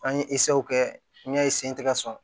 An ye kɛ n y'a sen tɛ ka sɔn